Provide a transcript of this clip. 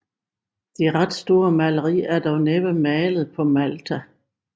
Det ret store maleri er dog næppe malet på Malta